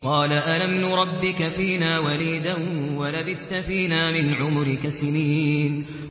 قَالَ أَلَمْ نُرَبِّكَ فِينَا وَلِيدًا وَلَبِثْتَ فِينَا مِنْ عُمُرِكَ سِنِينَ